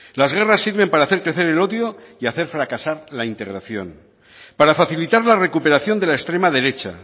las guerras sirven para hacer crecer el odio y hacer fracasar la integración para facilitar la recuperación de la extrema derecha